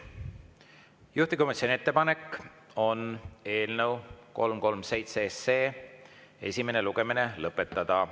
Juhtivkomisjoni ettepanek on eelnõu 337 esimene lugemine lõpetada.